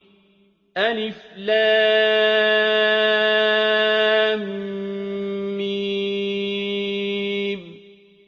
الم